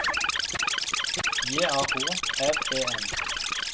J A H R E N